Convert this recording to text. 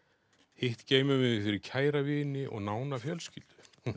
hitt geymum við fyrir kæra vini og nána fjölskyldu